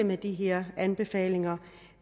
med de her anbefalinger